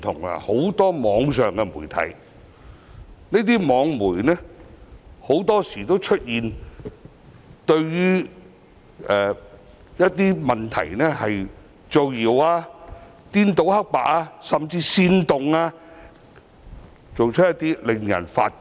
不少網上媒體很多時候會對一些問題造謠、顛倒黑白，甚至煽動他人等，做法令人髮指。